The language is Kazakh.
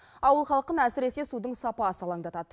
ауыл халқын әсіресе судың сапасы алаңдатады